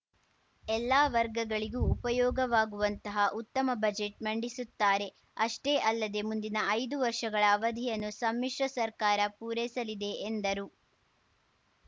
ಎಲ್ಲಾ ವರ್ಗಗಳಿಗೂ ಉಪಯೋಗವಾಗುವಂತಹ ಉತ್ತಮ ಬಜೆಟ್‌ ಮಂಡಿಸುತ್ತಾರೆ ಅಷ್ಟೇ ಅಲ್ಲದೆ ಮುಂದಿನ ಐದು ವರ್ಷಗಳ ಅವಧಿಯನ್ನು ಸಮ್ಮಿಶ್ರ ಸರ್ಕಾರ ಪೂರೈಸಲಿದೆ ಎಂದರು